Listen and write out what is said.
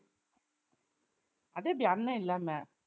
அது எப்படி அண்ணன் இல்லாம